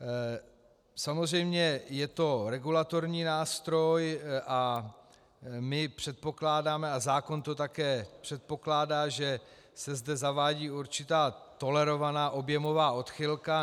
Samozřejmě, je to regulatorní nástroj a my předpokládáme, a zákon to také předpokládá, že se zde zavádí určitá tolerovaná objemová odchylka.